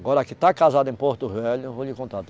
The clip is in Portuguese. Agora, a que está casada em Porto Velho, eu vou lhe contar.